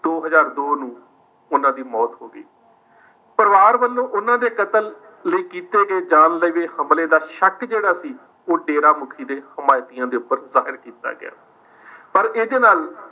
ਦੋ ਹਜ਼ਾਰ ਦੋ ਨੂੰ ਉਨ੍ਹਾਂ ਦੀ ਮੌਤ ਹੋ ਗਈ। ਪਰਿਵਾਰ ਵਲੋਂ ਉਨ੍ਹਾਂ ਦੇ ਕਤਲ ਲਈ ਕੀਤੇ ਗਏ ਜਾਨਲੇਵੇ ਹਮਲੇ ਦਾ ਸ਼ੱਕ ਜਿਹੜਾ ਸੀ, ਉਹ ਡੇਰਾਮੁਖੀ ਦੇ ਹਮਾਇਤੀਆਂ ਦੇ ਉੱਪਰ ਜ਼ਾਹਿਰ ਕੀਤਾ ਗਿਆ । ਪਰ ਇਹਦੇ ਨਾਲ